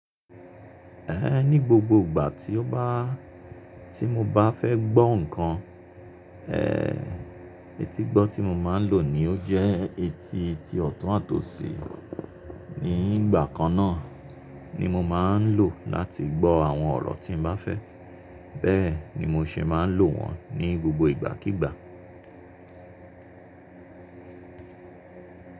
Ẹ̀ ní gbogbo ìgbà tí ó bá, tí mo bá fẹ́ gbọ́ nǹkan, ẹẹ́, etígbọ́ tí mo máa ń lò ni ó jẹ́ etí tí ọ̀tún àtọ̀sí. Ní ìgbà kan náà ni mo máa ń lò láti gbọ́ àwọn ọ̀rọ̀ tí n bá fẹ́. Bẹ́ẹ̀ ni mo ṣe máa ń lò wọ́n ní gbogbo ìgbàkígbà.